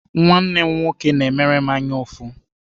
Nwanne m nwoke na-emere m anyaụfụ.